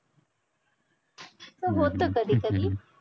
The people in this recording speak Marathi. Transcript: असं होत कधी कधी